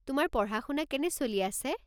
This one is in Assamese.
তোমাৰ পঢ়া-শুনা কেনে চলি আছে?